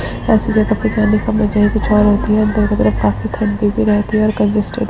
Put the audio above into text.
ऐसी जगह पे जाने का मजा ही कुछ और होता है दोनों तरफ काफी ठंडी भी रहती है और कंजस्टेड --